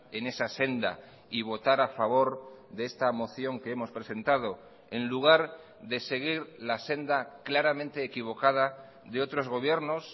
en esa senda y votar a favor de esta moción que hemos presentado en lugar de seguir la senda claramente equivocada de otros gobiernos